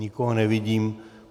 Nikoho nevidím.